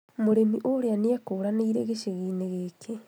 Mũrĩmi ũrĩa nĩekũranĩire gĩcagi-inĩ gĩkĩ